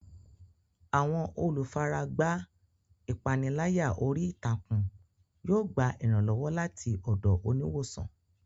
Àwọn olùfaragbá ìpániláyà orí ìtàkùn yóò gba ìrànlọ́wọ́ láti ọ̀dọ̀ oníwòsàn.